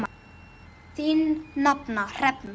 Þín nafna, Hrefna.